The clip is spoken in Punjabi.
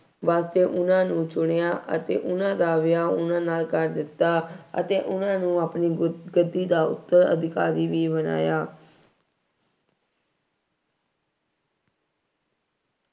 ਵਾਸਤੇ ਉਹਨਾ ਨੂੰ ਚੁਣਿਆ ਅਤੇ ਉਹਨਾ ਦਾ ਵਿਆਹ, ਉਹਨਾ ਨਾਲ ਕਰ ਦਿੱਤਾ ਅਤੇ ਉਹਨਾ ਨੂੰ ਆਪਣੀ ਗੁਰ-ਗੱਦੀ ਦਾ ਉੱਤਰ-ਅਧਿਕਾਰੀ ਵੀ ਬਣਾਇਆ।